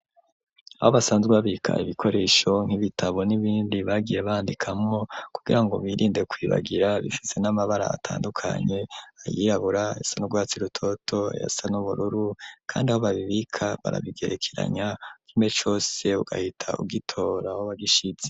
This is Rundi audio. Aho basanzwe babika ibikoresho, nk'ibitabo n'ibindi bagiye bandikamwo, kugira ngo birinde kwibagira, bifise n'amabara atandukanye, ayirabura, ayasa n'urwatsi rutoto, ayasa n'ubururu, kandi aho babibika barabigerekeranya, kimwe cose ugahita ugitora aho wagishize.